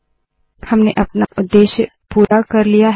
हमने अपना उद्देश्य पूरा कर लिया है